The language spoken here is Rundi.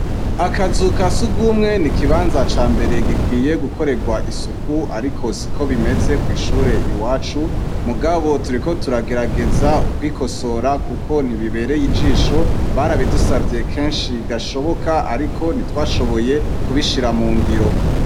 Akazu ka surwumwe ni ikibanza cambere gikwiye gukorerwa isuku ariko siko bimeze kw'ishure iwacu. Mugabo turiko turagerageza kwikosora kuko ntibibereye ijisho. Barabidusavye kenshi gashoboka ariko ntitwashoboye kubishira mu ngiro.